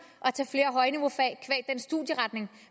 at studieretning